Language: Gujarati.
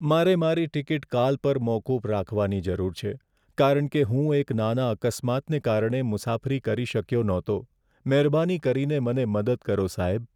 મારે મારી ટિકિટ કાલ પર મોકૂફ રાખવાની જરૂર છે કારણ કે હું એક નાના અકસ્માતને કારણે મુસાફરી કરી શક્યો ન હતો. મહેરબાની કરીને મને મદદ કરો, સાહેબ.